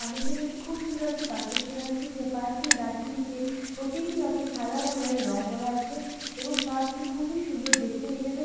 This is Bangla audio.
আমি এখানে একটি খুব সুন্দর একটি পার্ক দেখতে পাচ্ছি যে পার্ক এর গাছগুলিতে প্রতিটি আছে সাদা কালার এর রং করা আছে এবং পার্ক - টি খুবই সুন্দর দেখতে এখানে--